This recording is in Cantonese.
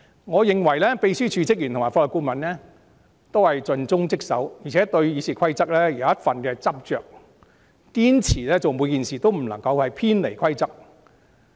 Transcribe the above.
我認為秘書處職員及法律顧問皆盡忠職守，而且對《議事規則》有一份執着，做每件事也堅持不偏離規則。